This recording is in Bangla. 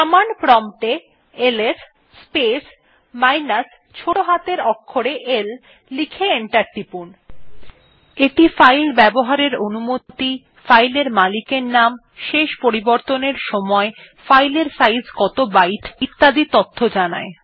কমান্ড প্রম্পট এ এলএস স্পেস মাইনাস ছোটো হাতের অক্ষরে l লিখে এন্টার টিপুন